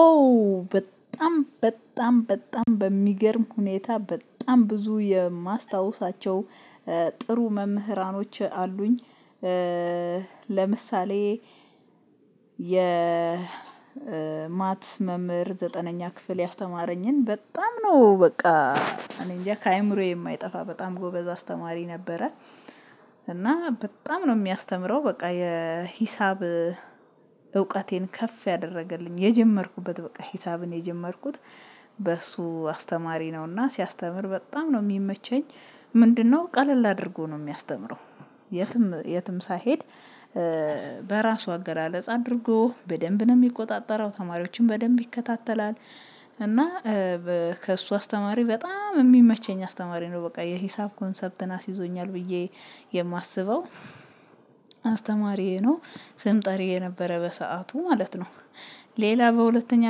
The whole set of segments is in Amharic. ኦ በጣም በጣም በጣም በሚገርም ሁኔታ በጣም ብዙ የማስታውሳቸው ጥሩ መምህራኖች አሉኝ። ለምሳሌ የማትስ መምህር ዘጠነኛ ክፍል ያስተማረኝን በጣም ነው በቃ እኔ እንጃ ከአእምሮዬ የማይጠፋ በጣም ጎበዝ አስተማሪ ነበረ። እና በጣም ነው የሚያስተምረው በቃ የሂሳብ እውቀቴን ከፍ ያደረገልኝ የጀመርኩበት በቃ ሂሳብን የጀመርኩት በሱ አስተማሪ ነውና ሲያስተምር በጣም ነው የሚመቸኝ። ምንድነው ቀለል አድርጎ ነው የሚያስተምረው። የትም የትም ሳይሄድ በራሱ አገላለጽ አድርጎ በደንብ ነው የሚቆጣጠረው ተማሪዎችን በደንብ ይከታተላል። እና ከእሱ አስተማሪ በጣም የሚመቸኝ አስተማሪ ነው በቃ የሂሳብ ኮንሰፕትን አስይዞኛል ብዬ የማስበው አስተማሪዬ ነው። ስም ጠሪዬ ነበረ በሰአቱ ማለት ነው። ሌላ በሁለተኛ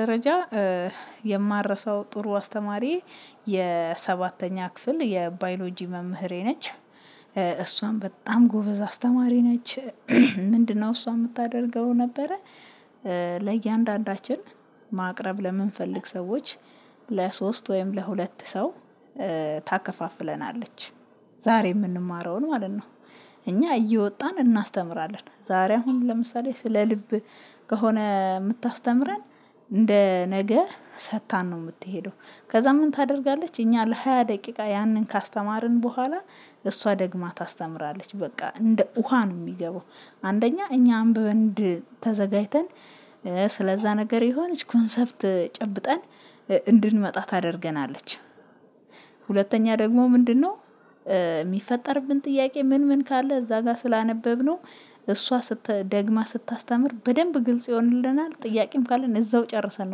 ደረጃ የማልረሳው ጥሩ አስተማሪ የሰባተኛ ክፍል የባዮሎጂ መምህሬ ነች። እሷም በጣም ጎበዝ አስተማሪ ነች። ምንድነው እሷ የምታደርገው ነበረ። ለእያንዳንዳችን ማቅረብ ለምንፈልግ ሰዎች ለሶስት ወይም ለሁለት ሰው ታከፋፍለናለች። ዛሬ የምንማረውን ማለት ነው። እኛ እየወጣን እናስተምራለን ዛሬ አሁን ለምሳሌ ስለ ልብ ከሆነ የምታስተምረን እንደ ነገ ሰጥታን ነው የምትሄደው። ከዛ ምን ታደርጋለች እኛ ለሃያ ደቂቃ ያንን ካስተማርን በኋላ እሷ ደግማ ታስተምራለች በቃ እንደ ውሃ ነው የሚገባው። አንደኛ እኛ አንብበን ተዘጋጅተን ስለዛ ነገር የሆነች ኮንሰፕት ጨብጠን እንድንመጣ ታደርገናለች። ሁለተኛ ደግሞ ምንድነው? የሚፈጠርብን ጥያቄ ምን ምን ካለ እዛ ጋር ስላነበብነው እሷ ስት ደግማ ስታስተምር በደንብ ግልጽ ይሆንልናል። ጥያቄም ካለን እዛው ጨረሰን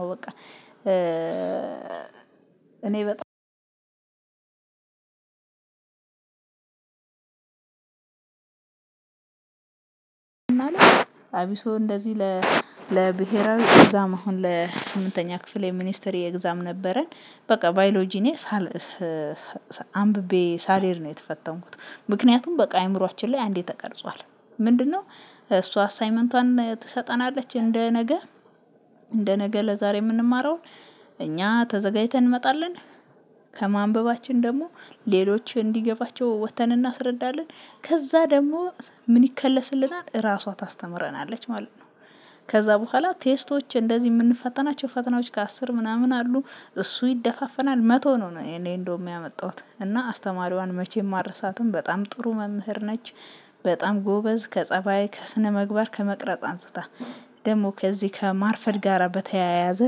ነው በቃ። እኔ በጣም አብሶ እንደዚህ ለብሄራዊ ኤግዛም አሁን ለስምንተኛ ክፍል የሚኒስትሪ ኤግዛም ነበረን። በቃ ባዮሎጂ እኔ ሳል አንብቤ ሳልሄድ ነው የተፈተንኩት። ምክንያቱም በቃ አእምሮአችን ላይ አንዴ ተቀርጿል። ምንድነው? እሷ አሳይመንቷን ትሰጠናለች እንደ ነገ እንደ ነገ ለዛሬ የምንማረውን እኛ ተዘጋጅተን እንመጣለን። ከማንበባችን ደግሞ ሌሎች እንዲገባቸው ወጥተን እናስረዳለን። ከዛ ደግሞ ምን ይከለስልናል ራሷ ታስተምረናለች ማለት ነው። ከዛ በኋላ ቴስቶች እንደዚህ የምንፈተናቸው ፈተናዎች ከአስር ምናምን አሉ። እሱ ይደፋፈናል መቶ ነው እኔ እንደውም ያመጣሁት እና አስተማሪዋን መቼም አልረሳትም በጣም ጥሩ መምህር ነች። በጣም ጎበዝ ከፀባይ ከስነምግባር ከመቅረጽ አንስታ ደግሞ ከዚህ ከማርፈድ ጋራ በተያያዘ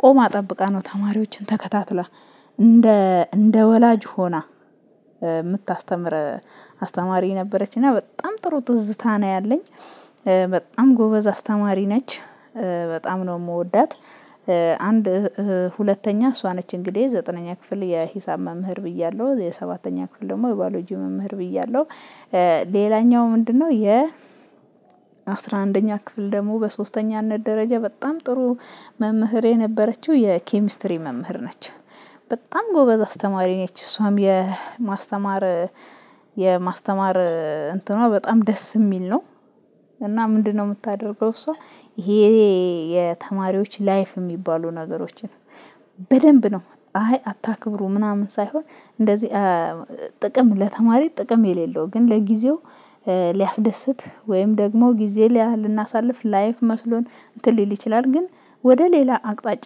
ቆማ ጠብቃ ነው ተማሪዎችን ተከታትላ። እንደ እንደ ወላጅ ሆና የምታስተምር አስተማሪ ነበረች። እና በጣም ጥሩ ትዝታ ነው ያለኝ። በጣም ጎበዝ አስተማሪ ነች። በጣም ነው የምወዳት። አንድ ሁለተኛ እሷ ነች እንግዲህ ዘጠነኛ ክፍል የሂሳብ መምህር ብያለሁ የሰባተኛ ክፍል ደግሞ የባሎጂ መምህር ብያለሁ። ሌላኛው ምንድነው? የ አስራ አንደኛ ክፍል ደግሞ በሶስተኛነት ደረጃ በጣም ጥሩ መምህሬ የነበረችው የኬሚስትሪ መምህር ነች። በጣም ጎበዝ አስተማሪ ነች እሷም የማስተማር የማስተማር እንትኗ በጣም ደስ የሚል ነው። እና ምንድነው? የምታደርገው እሷ ይሄ የተማሪዎች ላይፍ የሚባሉ ነገሮችን በደንብ ነው አይ አታክብሩ ምናምን ሳይሆን። እንደዚህ ጥቅም ለተማሪ ጥቅም የሌለው ግን ለጊዜው ሊያስደስት ወይም ደግሞ ጊዜ ልናሳልፍ ላይፍ መስሎን እንትን ሊል ይችላል። ግን ወደ ሌላ አቅጣጫ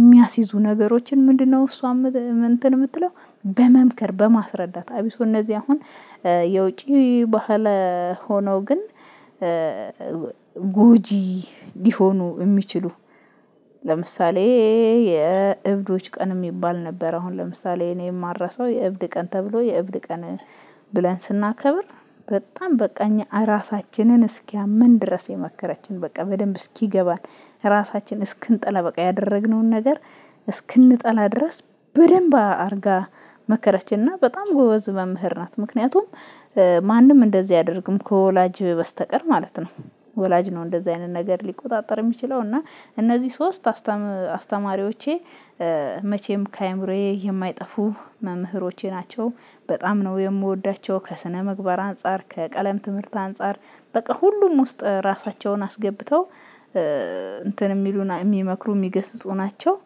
የሚያስይዙ ነገሮችን ምንድነው እሷ እንትን የምትለው። በመምከር በማስረዳት አብሶ እነዚህ አሁን የውጪ ባህል ሆነው ግን ጉጂ ሊሆኑ የሚችሉ። ለምሳሌ የእብዶች ቀን የሚባል ነበር አሁን ለምሳሌ እኔ የማልረሳው የእብድ ቀን ተብሎ የእብድ ቀን። ብለን ስናከብር በጣም በቃ እኛ ራሳችንን እስኪያመን ድረስ የመከረችን በቃ በደንብ እስኪገባን። ራሳችን እስክንጠላ በቃ ያደረግነውን ነገር። እስክንጠላ ድረስ በደንብ አድርጋ መከረችና በጣም ጎበዝ መምህር ናት። ምክንያቱም ማንም እንደዚህ አያደርግም ከወላጅ በስተቀር ማለት ነው። ወላጅ ነው እንደዚህ አይነት ነገር ሊቆጣጠር የሚችለው እና እነዚህ ሶስት አስተማሪዎቼ መቼም ከአእምሮዬ የማይጠፉ መምህሮቼ ናቸው። በጣም ነው የምወዳቸው ከስነምግባር አንፃር ከቀለም ትምህርት አንፃር በቃ ሁሉም ውስጥ ራሳቸውን አስገብተው እንትን የሚሉን የሚመክሩ የሚገስጹ ናቸው።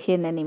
ይሄ ለኔ